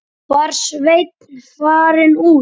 Var Sveinn farinn út?